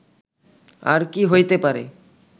আর কি হইতে পারে